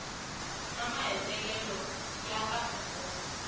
na mahetelelo ya kahle ngopfu